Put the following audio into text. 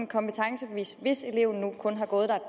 kompetencebevis hvis eleven kun har gået der